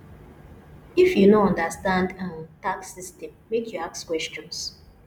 if you no understand um tax system make you ask questions